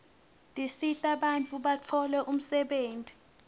tisita bantfu batfole umsebenti